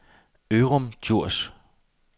Ørum Djurs